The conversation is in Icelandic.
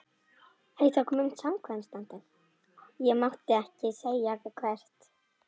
Ég mátti ekki segja hvert.